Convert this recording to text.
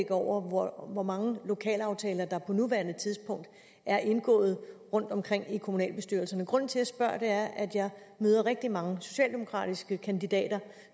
over hvor mange lokalaftaler der på nuværende tidspunkt er indgået rundtomkring i kommunalbestyrelserne grunden til jeg spørger er at jeg møder rigtig mange socialdemokratiske kandidater